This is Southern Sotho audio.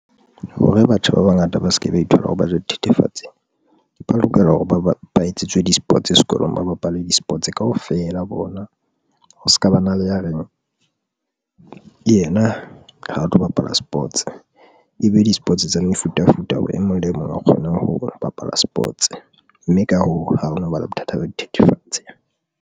Hore batjha ba bangata ba se ke ba ithola ha ba ja dithethefatsi, ba lokela hore ba etsetswe di-sports sekolong, ba bapale di-sports kaofela bona ho se ka ba na le ya reng yena ha a tlo bapala sports ebe di-sports tsa mefutafuta, hore e mong le mong a kgone ho bapala sports mme ka hoo, ha ho no ba le bothata ba dithethefatse.